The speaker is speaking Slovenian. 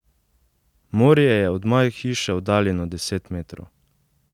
Morje je od moje hiše oddaljeno deset metrov.